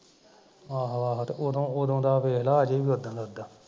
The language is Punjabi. ਆਹੋ ਆਹੋ ਤੇ ਉਹਦੋ ਉਹਦੋ ਦਾ ਵੇਖਲਾ ਅਜੇ ਵੀ ਓਦਾ ਦਾ ਉੱਦਾ